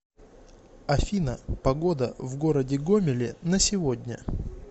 афина погода в городе гомеле на сегодня